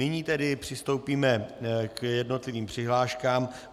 Nyní tedy přistoupíme k jednotlivým přihláškám.